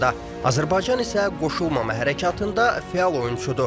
Azərbaycan isə qoşulmama hərəkatında fəal oyunçudur.